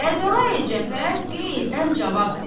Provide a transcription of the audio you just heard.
Kərbəlayı Cəfər qeyzdən cavab verdi.